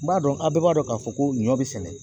N b'a dɔn a bɛɛ b'a dɔn k'a fɔ ko ɲɔ bɛ sɛnɛ